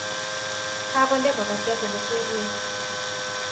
Kakonde makatyat elekweruke